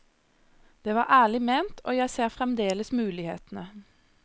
Det var ærlig ment, og jeg ser fremdeles mulighetene.